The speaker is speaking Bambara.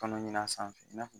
Tɔnɔ ɲin ia sanfɛ i n'a